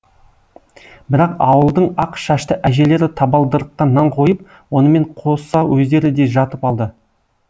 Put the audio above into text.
бірақ ауылдың ақ шашты әжелері табалдырыққа нан қойып онымен қоса өздері де жатып алды